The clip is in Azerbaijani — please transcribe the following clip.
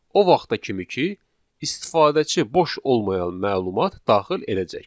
O vaxta kimi ki, istifadəçi boş olmayan məlumat daxil edəcək.